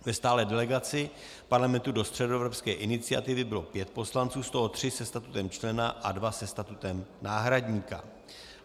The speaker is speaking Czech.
Ve stálé delegaci Parlamentu do Středoevropské iniciativy bylo pět poslanců, z toho tři se statutem člena a dva se statutem náhradníka.